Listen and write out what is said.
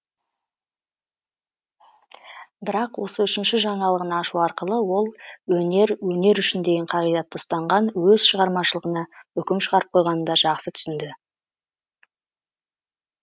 бірақ осы үшінші жаңалығын ашу арқылы ол өнер өнер үшін деген қағидатты ұстанған өз шығармашылығына үкім шығарып қойғанын да жақсы түсінді